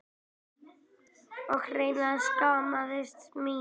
Ég hreinlega skammaðist mín.